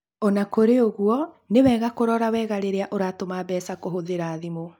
O na kũrĩ ũguo, nĩ wega kũrora wega rĩrĩa ũratũma mbeca kũhũthĩra thimũ.